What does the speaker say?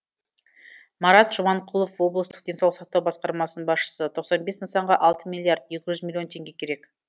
марат жұманқұлов облыстық денсаулық сақтау басқармасының басшысы тоқсан бес нысанға алты миллиард екі жүз миллион теңге керек